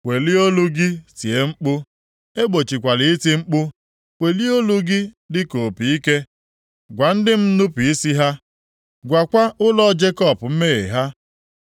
“Welie olu gị tie mkpu, egbochikwala iti mkpu. Welie olu gị dịka opi ike. + 58:1 Opi ike bụ ihe e ji akpọkọta ndị agha nʼoge agha. Gwa ndị m nnupu isi ha, gwakwa ụlọ Jekọb mmehie ha.